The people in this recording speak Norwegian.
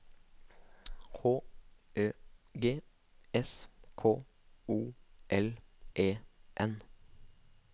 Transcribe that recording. H Ø G S K O L E N